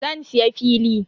Zan siya fili.